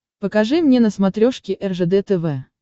покажи мне на смотрешке ржд тв